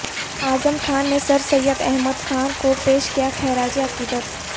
اعظم خاں نے سرسید احمد خاں کوپیش کیا خراج عقید ت